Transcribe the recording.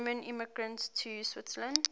german immigrants to switzerland